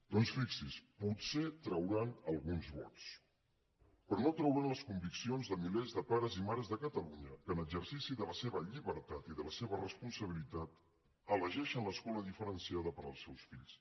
doncs fixin se potser trauran alguns vots però no trauran les conviccions de milers de pares i mares de catalunya que en exercici de la seva llibertat i de la seva responsabilitat elegeixen l’escola diferenciada per als seus fills